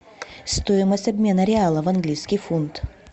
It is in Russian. стоимость обмена реала в английский фунт